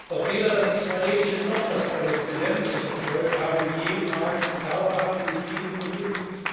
Doch weder das israelische noch das palästinensische Volk haben jemals dauerhaft in Frieden gelebt.